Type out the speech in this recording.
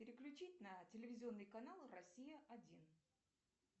переключить на телевизионный канал россия один